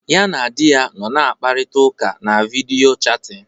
Ya na di ya nọ na-akparịta ụka na vidiyo chatin.